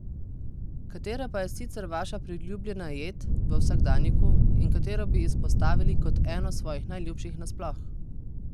Katera pa je sicer vaša priljubljena jed, v vsakdanjiku, in katero bi izpostavili kot eno svojih najljubših nasploh?